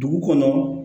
Dugu kɔnɔ